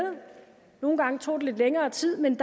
nogle gange tog det lidt længere tid men